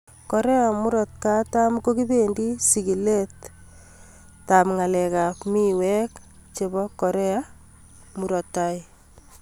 Korea Kusini ko kibendi sigilet ko kibendi ng�alek ab mawek ak Korea Kaskazini.